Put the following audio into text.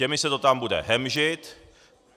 Těmi se to tam bude hemžit.